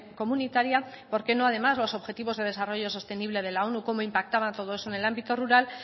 comunitaria por qué no además los objetivos de desarrollo sostenible de la onu como impactaban todo eso en el ámbito rural